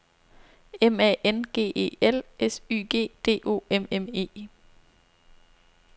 M A N G E L S Y G D O M M E